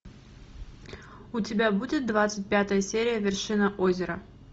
у тебя будет двадцать пятая серия вершина озера